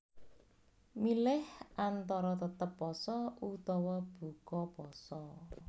Milih antara tetep pasa utawa buka pasa